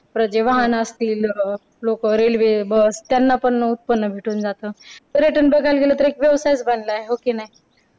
परत जे वाहन असतील लोक रेल्वे बस त्यांना पण उत्पन्न भेटून जातं. पर्यटन बघायला गेलं तर एक व्यवसायच बनला आहे. हो की नाही.